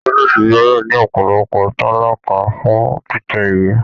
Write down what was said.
Ọ̀fiísí gbọdọ ní ọpọlọpọ talakà fún títẹ̀ ìwé.